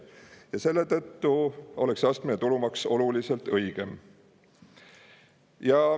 Selle tõttu oleks astmeline tulumaks oluliselt õigem.